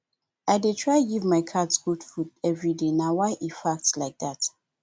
i dey try give my cat good food everyday na why e fat like dat